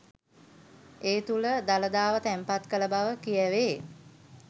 ඒ තුළ දළදාව තැන්පත් කළ බව කියැවේ